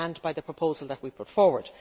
We stand by the proposal that we put forward.